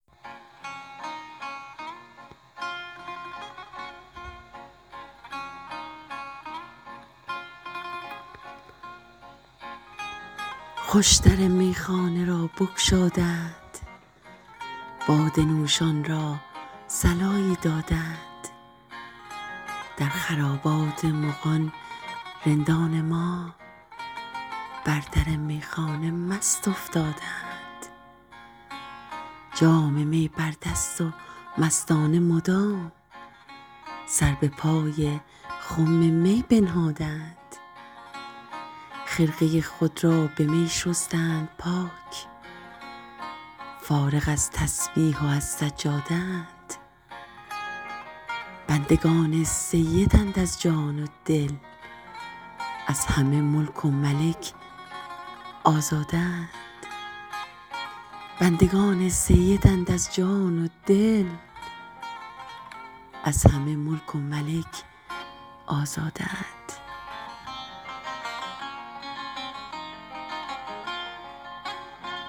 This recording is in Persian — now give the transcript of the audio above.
خوش در میخانه را بگشاده اند باده نوشان را صلایی داده اند در خرابات مغان رندان ما بر در میخانه مست افتاده اند جام می بر دست و مستانه مدام سر به پای خم می بنهاده اند خرقه خود را به می شستند پاک فارغ از تسبیح و از سجاده اند بندگان سیدند از جان و دل از همه ملک و ملک آزاده اند